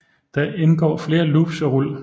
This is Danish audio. Der indgår flere loops og rul